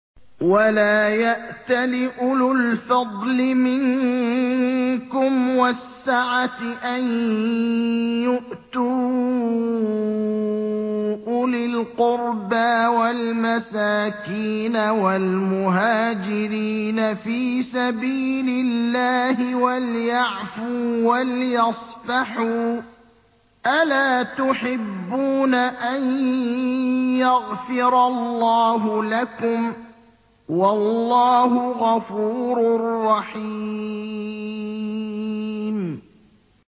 وَلَا يَأْتَلِ أُولُو الْفَضْلِ مِنكُمْ وَالسَّعَةِ أَن يُؤْتُوا أُولِي الْقُرْبَىٰ وَالْمَسَاكِينَ وَالْمُهَاجِرِينَ فِي سَبِيلِ اللَّهِ ۖ وَلْيَعْفُوا وَلْيَصْفَحُوا ۗ أَلَا تُحِبُّونَ أَن يَغْفِرَ اللَّهُ لَكُمْ ۗ وَاللَّهُ غَفُورٌ رَّحِيمٌ